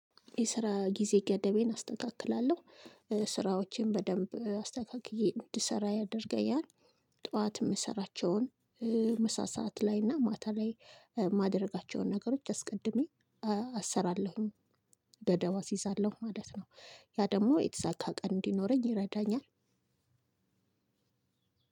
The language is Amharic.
የስራ ጊዜ ገደቤን አስተካክላለሁ ስራዎቼን በደንብ አስተካክዬ እንድሰራ ያደርገኛል። ጠዋት የምሰራቸውን ምሳ ሰዓት ላይ እና ማታ ላይ ማድረጋቸውን ነገሮች አስቀድሜ አሰራለሁኝ። ገደብ እስይዛለሁ ማለት ነው። ያ ደግሞ የተሳካ ቀን እንዲኖረኝ ይረዳኛል።